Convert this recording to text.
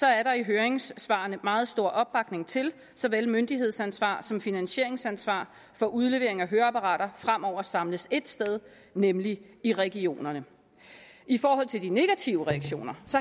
er der i høringssvarene meget stor opbakning til at såvel myndighedsansvar som finansieringsansvar for udlevering af høreapparater fremover samles ét sted nemlig i regionerne i forhold til de negative reaktioner